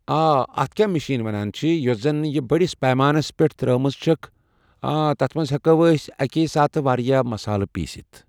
آ اتھ کیاہ مشیٖن ونان چھِ یۄس زن یہِ بٔڈِس پیمانس پٮ۪ٹھ ترٲومٕژ چھکھ اۭں تتھ منٛز ہیٚکو أسۍ اکے ساتہٕ واریاہ مسال پیستھ